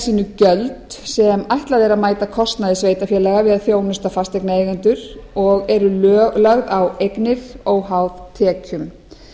eðli sínu gjöld sem ætlað er að mæta kostnaði sveitarfélaga við að þjónusta fasteignaeigendur og eru lögð á eignir óháð tekjum